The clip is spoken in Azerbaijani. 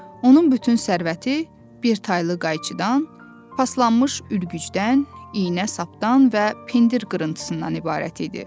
Onun bütün sərvəti bir taylı qayçıdan, paslanmış ürgücdən, iynə-sapdan və pendir qırıntısından ibarət idi.